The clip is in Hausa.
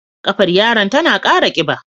Ƙafar yaron tana kara kiba.